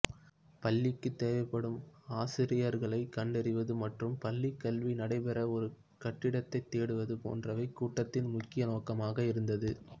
பள்ளிக்குத் தேவைப்படும் ஆசிரியர்களைக் கண்டறிவது மற்றும் பள்ளிக்கல்வி நடைபெற ஒரு கட்டிடத்தைத் தேடுவது போன்றவை கூட்டத்தின் முக்கிய நோக்கமக இருந்தது